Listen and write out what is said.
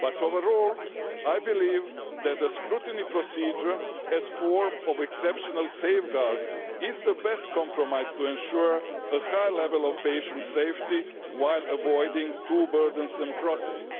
but overall I believe that the scrutiny procedure, as a form of exceptional safeguard, is the best compromise to ensure a high level of patient safety while avoiding two burdensome processes.